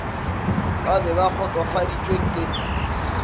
ba be ba kgotsofaditšwe ke